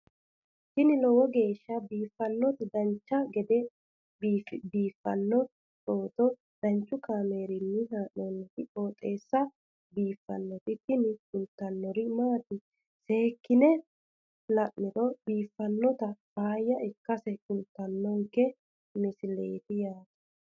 tini lowo geeshsha biiffannoti dancha gede biiffanno footo danchu kaameerinni haa'noonniti qooxeessa biiffannoti tini kultannori maatiro seekkine la'niro biiffannota faayya ikkase kultannoke misileeti yaate